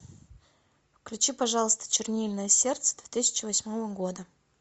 включи пожалуйста чернильное сердце две тысячи восьмого года